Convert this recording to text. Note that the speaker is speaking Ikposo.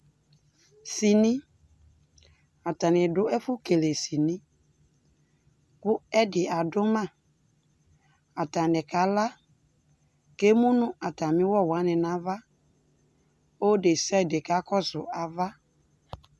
Dini, atani dʋ ɛfʋ kele dini kʋ ɛdi adʋ ma Atani kala, k'emu nʋ atami ʋwɔ wani n'ava, ɔlʋ desiade kakɔsʋ ava